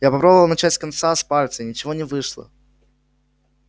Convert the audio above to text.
я попробовал начать с конца с пальца ничего не вышло